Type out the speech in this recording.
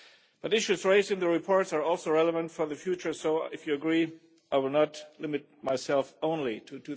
But issues raised in the reports are also relevant for the future so, if you agree, I will not limit myself only to